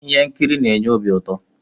ihe nkiri na-enye obi uto